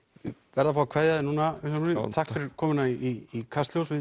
verð að fá að kveðja þig Vilhjálmur takk fyrir komuna í Kastljós við